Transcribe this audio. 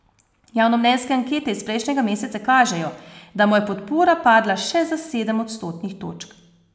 Javnomnenjske ankete iz prejšnjega meseca kažejo, da mu je podpora padla še za sedem odstotnih točk.